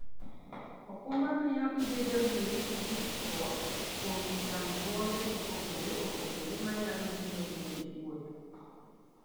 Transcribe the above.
okumba miyo ibedo gi ritruok kuom chandruoge mopogore opogore manyalo biro nikech wuoth.